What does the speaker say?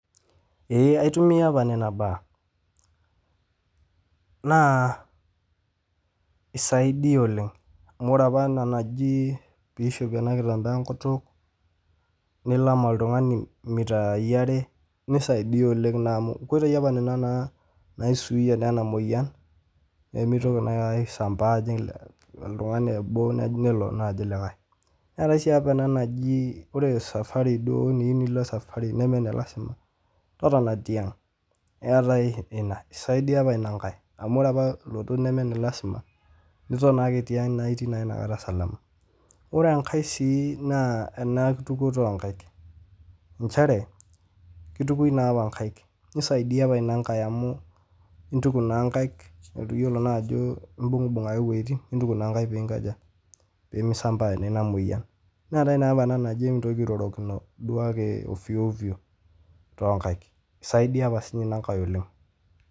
Eee aitumiya apa nena baa, naa eisaidia oleng amu ore apa ena najii peishopi en nkitambaa enkutuk, nilam oltungani mitaii are, neisaidia oleng amuu nkoitei apa nenia naisuuyia naa ena moyian, pemeitoki naa aisambaa ajing' oltungani obo nelo naa ajing' likae, naaku esiaai apa ana najii ore safari duo eniyeu nilo safari nemee ne lasima, totona te aang' etae ina, eisaidia apa ina nkae ore apa lotot nemee ne lasima, niton ake te ang' naa itii naa inakata salama, ore enkae si naa ana nkitukoto oo nkaik, inchere keitukoi naapa inkaik, neisaidia naa apa ina nkae amuu intuk naa inkaik, etu iyolo naa ajo imbung'bung' ake wejitin nintuk naa nkaik piinkoja pemeisambaa nenia moyian, neatae naapa ana naji emintoki airorokino duo ake ofyoofyo too inkaik, eisaidia apa sii ninye ina ing'ae oleng.